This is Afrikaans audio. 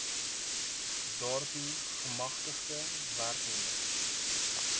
daartoe gemagtigde werknemer